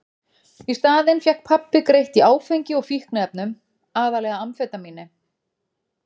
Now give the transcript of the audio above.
Í staðinn fékk pabbi greitt í áfengi og fíkniefnum, aðallega amfetamíni.